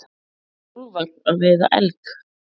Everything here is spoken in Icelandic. Úlfar að veiða elg.